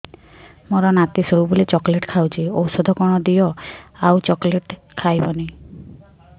ମୋ ନାତି ସବୁବେଳେ ଚକଲେଟ ଖାଉଛି ଔଷଧ କଣ ଦିଅ ଆଉ ଚକଲେଟ ଖାଇବନି